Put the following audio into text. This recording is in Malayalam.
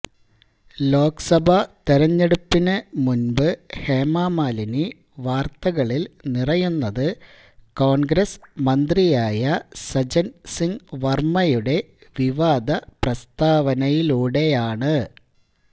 ലോക് സഭാ തെരഞ്ഞെടുപ്പിന് മുന്പ് ഹേമ മാലിനി വാര്ത്തകളില് നിറയുന്നത് കോണ്ഗ്രസ് മന്ത്രിയായ സജ്ജന് സിംഗ് വര്മ്മയുടെ വിവാദ പ്രസ്താവനയിലൂടെയാണ്